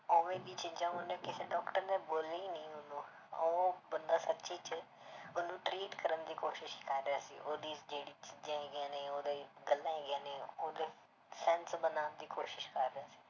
ਉਵੇਂ ਦੀ ਚੀਜ਼ਾਂ ਉਨਹੂ ਕਿਸੇ doctor ਨੇ ਬੋਲੀ ਨੀ ਉਹਨੂੰ, ਉਹ ਬੰਦਾ ਸੱਚੀ 'ਚ ਉਹਨੂੰ treat ਕਰਨ ਦੀ ਕੋਸ਼ਿਸ਼ ਕਰ ਰਿਹਾ ਸੀ l ਉਹਦੀ ਜਿਹੜੀ ਚੀਜ਼ਾਂ ਹੈਗੀਆਂ ਨੇ ਓਹਦੀਆਂ ਹੈਗੀਆਂ ਨੇ ਉਹਦੇ sense ਬਣਾਉਣ ਦੀ ਕੋਸ਼ਿਸ਼ ਕਰ ਸੀ l